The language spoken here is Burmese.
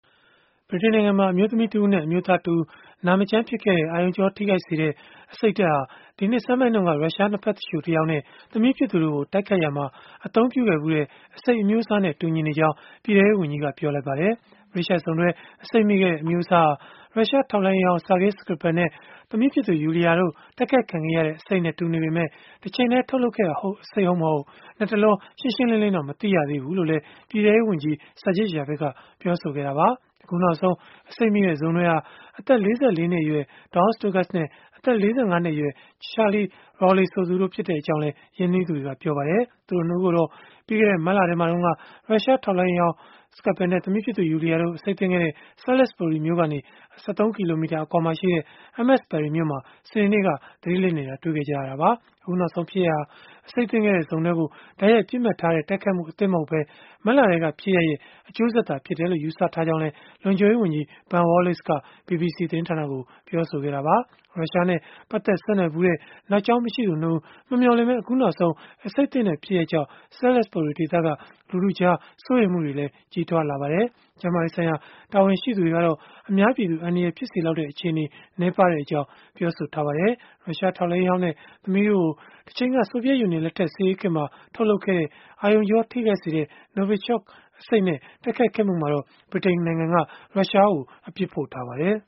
ဗြိတိန်နိုင်ငံမှာ အမျိုးသမီးတဦးနဲ့ အမျိုးသားတဦး နေထိုင်မကောင်းဖြစ်ခဲ့တဲ့ အာရုံကြောထိခိုက်စေတဲ့ အဆိပ်ဓာတ်ဟာ ဒီနှစ်ဆန်းပိုင်းတုန်းက ရုရှားနှစ်ဘက်သူလျှို တယောက်နဲ့ သမီးဖြစ်သူတို့ကို တိုက်ခိုက်ရာမှာ အသုံးပြုခဲ့ဖူးတဲ့ အဆိပ်အမျိုးအစားနဲ့ တူညီကြောင်း ပြည်ထဲရေး ဝန်ကြီးက ပြောဆိုလိုက်ပါတယ်။ ဗြိတိသျှစုံတွဲ အဆိပ်မိခဲ့တဲ့ အမျိုးအစားဟာ ရုရှားထောက်လှမ်းရေးဟောင်း Sergei Skripal နဲ့ သမီးဖြစ်သူ Yulia တို့ တိုက်ခိုက်ခံခဲ့ရတဲ့ အဆိပ်နဲ့တူပေမဲ့၊ တချိန်တည်းမှာ ထုတ်လုပ်ခဲ့တဲ့ အဆိပ်ဟုတ်မဟုတ် လတ်တလော ရှင်းရှင်းလင်းလင်း မသိရသေးဘူးလို့လည်း ပြည်ထဲရေးဝန်ကြီး Sajid Javid ကပြောဆိုခဲ့တာပါ။ အခုနောက်ဆုံး အဆိပ်မိတဲ့စုံတွဲဟာ အသက် ၄၄ နှစ်အရွယ် Dawn Sturgess နဲ့ အသက် ၄၅ နှစ်အရွယ် Charlie Rowley ဆိုသူတွေ ဖြစ်ကြောင်းလည်း ရင်းနှီးသူတွေက ပြောပါတယ်။ သူတို့ ၂ ဦးကိုတော့ ပြီးခဲ့တဲ့ မတ်လထဲမှာတုန်းက ရုရှားထောက်လှမ်းရေးဟောင်း Sergei Skripal နဲ့ သမီးဖြစ်သူ Yulia တို့ အဆိပ်သင့်ခဲ့တဲ့ Salisbury မြို့ကနေ ၁၃ ကီလိုမီတာ အကွာမှာရှိတဲ့ Amesbury မြို့မှာ စနေနေ့က သတိလစ်နေတာ တွေ့ခဲ့ကြရတာပါ။ အခုနောက်ဆုံး ဖြစ်ရပ်ဟာ အဆိပ်သင့်ခဲ့တဲ့ စုံတွဲကို တိုက်ရိုက်ပစ်မှတ်ထားတဲ့ တိုက်ခိုက်မှုအသစ် မဟုတ်ဘဲ၊ မတ်လထဲက ဖြစ်ရပ်ရဲ့ အကျိုးဆက်သာဖြစ်တယ်လို့ ယူဆကြောင်းလည်း လုံခြုံရေးဝန်ကြီး Ben Wallace က BBC သတင်းဌာနကို ပြောဆိုခဲ့တာပါ။ ရုရှားနဲ့ ပတ်သက်ဆက်နွယ်ဖူးတဲ့ နောက်ကြောင်းမရှိသူ ၂ ဦး မမျှော်လင့်ဘဲ အခုနောက်ဆုံး အဆိပ်သင့်တဲ့ ဖြစ်ရပ်ကြောင့် Salisbury ဒေသက လူထုကြား စိုးရိမ်မှုတွေလည်း ကြီးထွားလာပါတယ်။ ကျန်းမာရေးဆိုင်ရာ တာဝန်ရှိသူတွေကတော့ အများပြည်သူ အန္တရာယ်ဖြစ်စေလောက်တဲ့ အခြေအနေ နည်းပါးကြောင်း ပြောဆိုထားကြပါတယ်။ ရုရှားထောက်လှမ်းရေးဟောင်းနဲ့ သမီးတို့ကို တချိန်က ဆိုဗီယက်ယူနီယံလက်ထက် စစ်အေးခေတ်မှာ ထုတ်လုပ်ခဲ့တဲ့ အာရုံကြော ထိခိုက်စေတဲ့ Novichok အဆိပ်နဲ့ တိုက်ခိုက်ခဲ့မှုမှာတော့ ဗြိတိန်က ရုရှားကို အပြစ်ဖို့ထားပါတယ်။